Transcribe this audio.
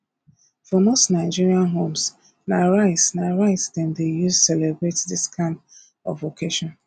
for most nigerian homes na rice na rice dem dey use celebrate this kind of occasion